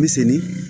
Bɛ senni